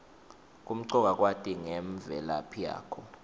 kumcoka kwati ngemvelaphi yakho